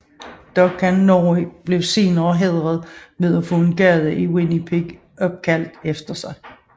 Duncan Norrie blev senere hædret ved at få en gade i Winnipeg opkaldt efter ham